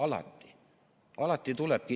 Alati!